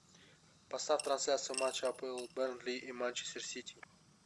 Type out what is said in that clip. поставь трансляцию матча апл бернли и манчестер сити